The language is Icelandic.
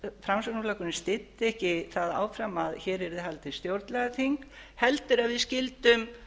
framsóknarflokkurinn styddi ekki það áfram að hér yrði haldið stjórnlagaþing heldur að við skildum